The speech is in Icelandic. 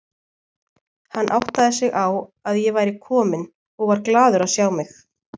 Hann áttaði sig á að ég væri komin og var glaður að sjá mig.